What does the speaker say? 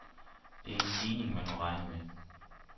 Det er en stigning, man må regne med.